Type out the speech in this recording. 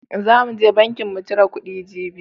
Zan mu je banki mu cire kuɗi jibi..